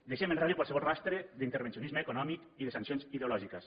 deixem enrere qualsevol rastre d’intervencionisme econòmic i de sancions ideològiques